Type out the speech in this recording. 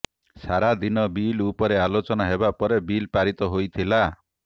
ସାରା ଦିନ ବିଲ ଉପରେ ଆଲୋଚନା ହେବା ପରେ ବିଲ ପାରିତ ହୋଇଥିଲା